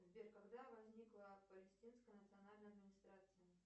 сбер когда возникла палестинская национальная администрация